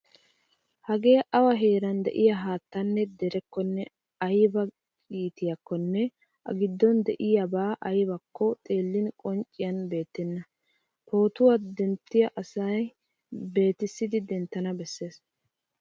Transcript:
Hagee awa heeran de'iya haattanne derekkonne ayba iitiiyakkonne A giddon de'iyabay aybakko xeellin qoncciyan beettenna. Pootuwa denttiya asay beetissidi denttana bessees.